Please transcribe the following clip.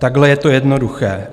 Takhle je to jednoduché.